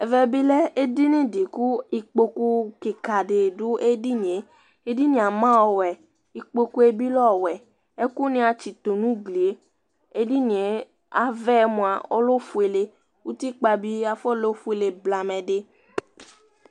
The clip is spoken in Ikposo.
Ɛvɛ bi lɛ édiyni ku ikpokpu kika didu édiynié Édinié ama ɔwωɛ, ikpokpu bi lɛ ɔwωɛ Ɛkunia atsitu nu ugli Édiynié aʋɛmua ɔlɛ ofuélé Utikpa bi afɔ lɛ ofuélé blamɛ di